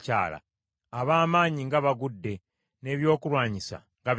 “Ab’amaanyi nga bagudde, n’ebyokulwanyisa nga bizikiridde!”